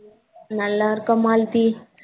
நல்லா இருக்கோம் மால்தி.